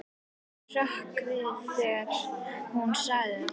Ég hrökk við þegar hún sagði þetta.